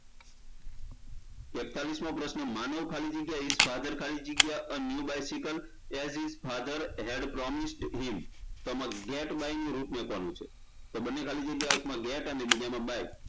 એકતાળીશમો પ્રશ્ન માનવ ખાલી જગ્યા his father ખાલી જગ્યા a new bicycle as his father had promised him તો આમાં get buy નું રૂપ કોનું છે તો બંને ખાલી જગ્યા એકમાં get અને બીજામાં buy